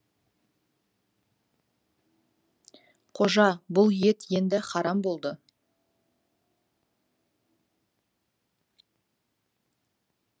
қожа бұл ет енді харам болды